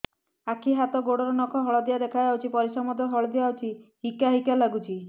ଆଖି ହାତ ଗୋଡ଼ର ନଖ ହଳଦିଆ ଦେଖା ଯାଉଛି ପରିସ୍ରା ମଧ୍ୟ ହଳଦିଆ ହଉଛି ହିକା ହିକା ଲାଗୁଛି